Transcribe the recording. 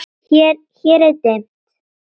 Hér er dimmt.